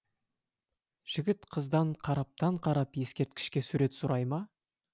жігіт қыздан қараптан қарап ескерткішке сурет сұрай ма